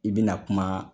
I bɛna kuma